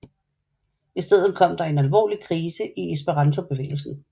I stedet kom der en alvorlig krise i esperantobevægelsen